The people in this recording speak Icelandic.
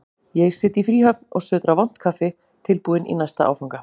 Ég sit í fríhöfn og sötra vont kaffi, tilbúinn í næsta áfanga.